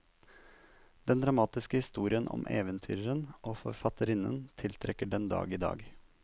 Den dramatiske historien om eventyreren og forfatterinnen tiltrekker den dag i dag.